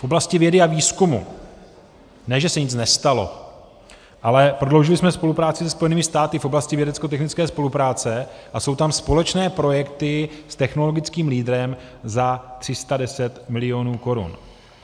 V oblasti vědy a výzkumu ne že se nic nestalo, ale prodloužili jsme spolupráci se Spojenými státy v oblasti vědeckotechnické spolupráce a jsou tam společné projekty s technologickým lídrem za 310 milionů korun.